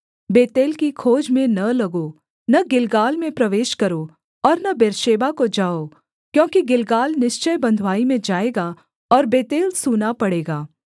बेतेल की खोज में न लगो न गिलगाल में प्रवेश करो और न बेर्शेबा को जाओ क्योंकि गिलगाल निश्चय बँधुआई में जाएगा और बेतेल सूना पड़ेगा